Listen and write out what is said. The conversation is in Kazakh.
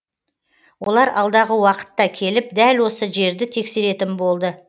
олар алдағы уақытта келіп дәл осы жерді тексеретін болды